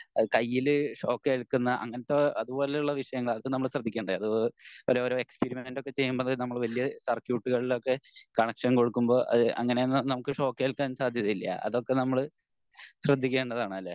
കയ്യിൽ ഷോക്ക് ഏൽക്കുന്ന അങ്ങിനത്തെ അതുപോലെയുള്ള വിഷയങ്ങൾ അത് നമ്മൾ ശ്രദ്ധിക്കേണ്ടത് അത് ഓരോ ഓരോ എക്സ്പെരിമെൻറ്റ് ഒക്കെ ചെയ്യുമ്പോൾ നമ്മൾ വല്യ സർക്യൂട്ടുകളിൽ ഒക്കെ കണക്ഷൻ കൊടുക്കുമ്പോ അങ്ങിനെ അങ്ങിനെ ഒന്നും നമുക്ക് ഷോക്ക് ഏൽക്കാൻ സാധ്യതയില്ല അതൊക്കെ നമ്മൾ ശ്രദ്ധിക്കേണ്ടതാണ് അല്ലെ